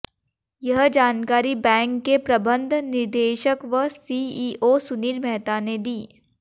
यह जानकारी बैंक के प्रबंध निदेशक व सीईओ सुनील मेहता ने दी